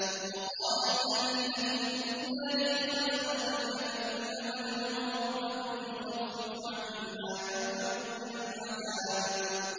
وَقَالَ الَّذِينَ فِي النَّارِ لِخَزَنَةِ جَهَنَّمَ ادْعُوا رَبَّكُمْ يُخَفِّفْ عَنَّا يَوْمًا مِّنَ الْعَذَابِ